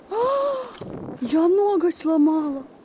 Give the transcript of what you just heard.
я ноготь сломала